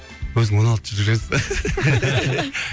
өзің он алты жыл жүресің